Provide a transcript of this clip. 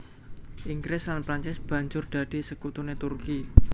Inggris lan Prancis banjur dadi sekutuné Turki